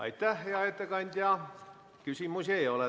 Aitäh, hea ettekandja!